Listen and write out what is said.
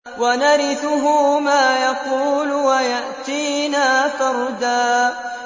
وَنَرِثُهُ مَا يَقُولُ وَيَأْتِينَا فَرْدًا